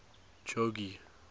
jogee